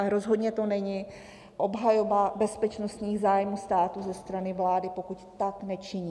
A rozhodně to není obhajoba bezpečnostních zájmů státu ze strany vlády, pokud tak nečiní.